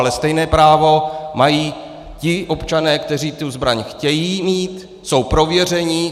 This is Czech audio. Ale stejné právo mají ti občané, kteří tu zbraň chtějí mít, jsou prověření.